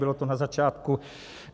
Bylo to na začátku.